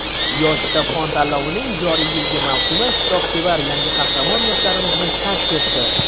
"Yosh kitobxon" tanlovining joriy yilgi mavsumi kitobsevar yangi qahramon yoshlarimizni kashf etdi.